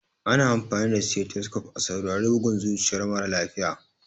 Ana amfani da stethoscope a saurari bugun zuciyar mara lafiya.